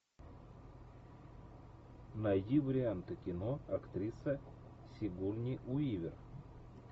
найди варианты кино актриса сигурни уивер